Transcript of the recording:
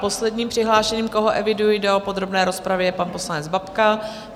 Posledním přihlášeným, koho eviduji do podrobné rozpravy, je pan poslanec Babka.